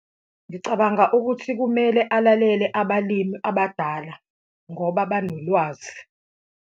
Ngicabanga ukuthi kumele alalele abalimi abadala ngoba banolwazi.